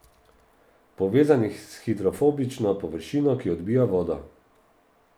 Povezan je s hidrofobično površino, ki odbija vodo.